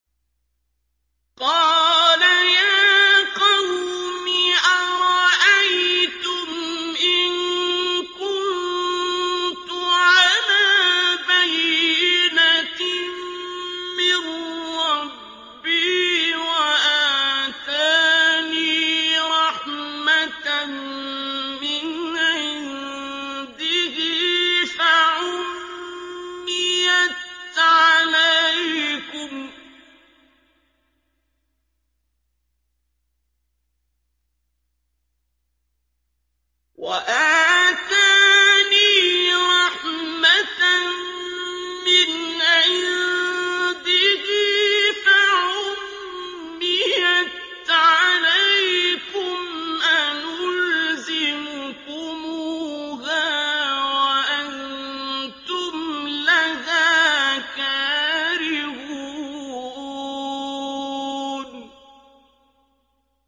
قَالَ يَا قَوْمِ أَرَأَيْتُمْ إِن كُنتُ عَلَىٰ بَيِّنَةٍ مِّن رَّبِّي وَآتَانِي رَحْمَةً مِّنْ عِندِهِ فَعُمِّيَتْ عَلَيْكُمْ أَنُلْزِمُكُمُوهَا وَأَنتُمْ لَهَا كَارِهُونَ